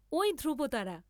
ঐ ধ্রুবতারা!